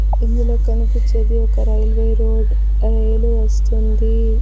ఇందులో కనిపించేది ఒక రైల్వే రోడ్డు ఆ రైలు వస్తుంది.